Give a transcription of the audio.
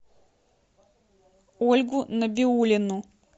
ольгу набиуллину